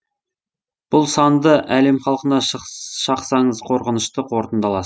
бұл санды әлем халқына шақсаңыз қорқынышты қорытындала